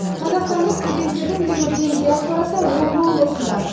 қазақстандық студенттердің ең үлкен диаспорасы омбы облысында